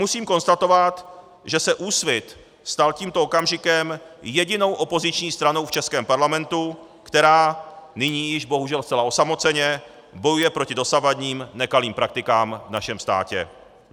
Musím konstatovat, že se Úsvit stal tímto okamžikem jedinou opoziční stranou v českém parlamentu, která nyní již bohužel zcela osamoceně bojuje proti dosavadním nekalým praktikám v našem státě.